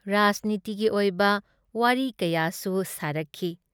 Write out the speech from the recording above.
ꯔꯥꯖꯅꯤꯇꯤꯒꯤ ꯑꯣꯏꯕ ꯋꯥꯔꯤ ꯀꯌꯥꯁꯨ ꯁꯥꯔꯛꯈꯤ ꯫